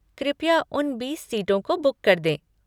कृपया उन बीस सीटों को बुक कर दें।